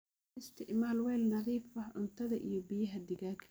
U isticmaal weel nadiif ah cuntadha iyo biyaha digaaga.